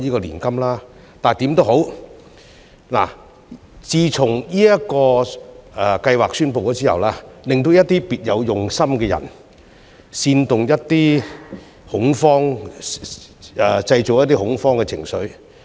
但是，不管怎樣，自從這個計劃宣布後，總有一些別有用心的人製造恐慌情緒。